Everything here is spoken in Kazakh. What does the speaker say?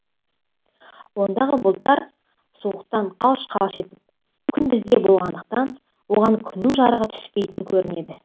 ондағы бұлттар суықтан қалш қалш етіп күн бізде болғандықтан оған күннің жарығы түспейтін көрінеді